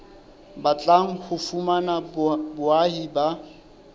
batlang ho fumana boahi ba